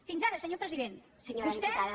fins ara senyor president vostè